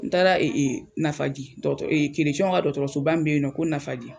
N taara Nafaji dɔkɔ ka dɔkɔtɔrɔsoba be yen nɔ ko nafaji